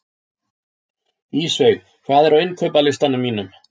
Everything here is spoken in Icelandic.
Ísveig, hvað er á innkaupalistanum mínum?